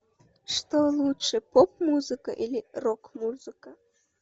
что лучше поп музыка или рок музыка